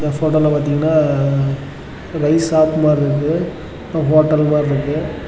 இந்த போட்டோல பாத்தீங்கன்னா ரைஸ் சாப் மாறி இருக்கு ஒரு ஹோட்டல் மாறியிருக்கு.